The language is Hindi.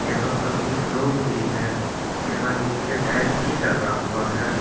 यहां पर कुछ लोग भी हैं यहां नीचे टाइल्स भी लगा हुआ है।